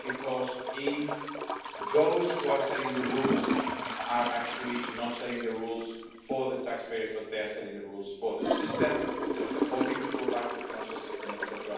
Because if those who are setting the rules are actually not setting the rules for the taxpayers, but they are setting the rules for the system, because they're hoping to go back to the financial system, etc.,